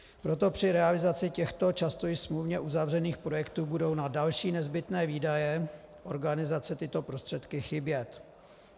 Proto při realizaci těchto často i smluvně uzavřených projektů budou na další nezbytné výdaje organizace tyto prostředky chybět.